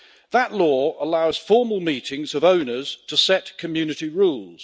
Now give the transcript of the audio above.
That law allows formal meetings of owners to set community rules.